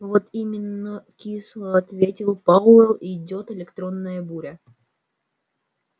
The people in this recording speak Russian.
вот именно кисло ответил пауэлл идёт электронная буря